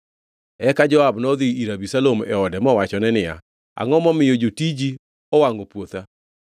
Eka Joab nodhi ir Abisalom e ode mowachone niya, “Angʼo momiyo jotiji owangʼo puotha?”